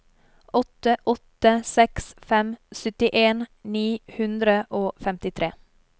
åtte åtte seks fem syttien ni hundre og femtitre